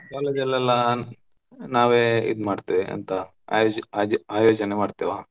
College ಅಲೆಲ್ಲಾ ನಾವೇ ಇದ್ ಮಾಡ್ತೆವೆ ಎಂತ, ಆಯ್~ ಆಯೋಜಿ~ ಆಯೋಜನೆ ಮಾಡ್ತೆವ.